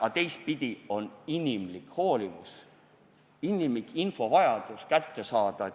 Aga teistpidi on inimlik hoolivus, inimlik vajadus info kätte saada.